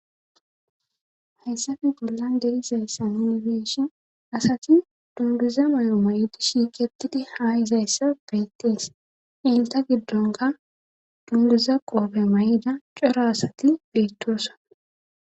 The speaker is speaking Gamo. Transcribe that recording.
Hessafe bollan derizayssa minibeshin asati dunduza mayo may'di shiiqetidi haa izayssa beyttees inta giddonka dunguza qoope may7ida coro asati beettosa.